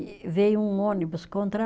E veio um ônibus contra